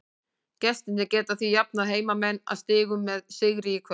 Gestirnir geta því jafnað heimamenn að stigum með sigri í kvöld.